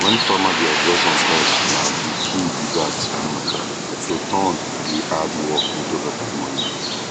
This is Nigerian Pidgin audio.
when farmer dey harvest on time na the key be that um to turn e hard work into better money